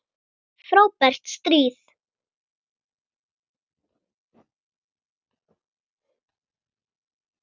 Frábært stríð!